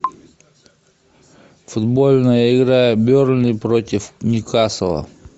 футбольная игра бернли против ньюкасла